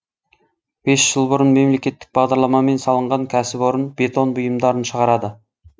бес жыл бұрын мемлекеттік бағдарламамен салынған кәсіпорын бетон бұйымдарын шығарады